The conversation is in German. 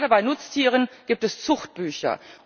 Gerade bei Nutztieren gibt es Zuchtbücher.